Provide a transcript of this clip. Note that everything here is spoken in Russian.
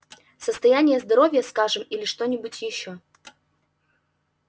состояние здоровья скажем или что-нибудь ещё